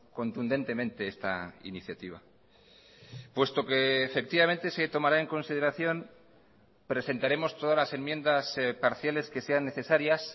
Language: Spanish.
contundentemente esta iniciativa puesto que efectivamente se tomará en consideración presentaremos todas las enmiendas parciales que sean necesarias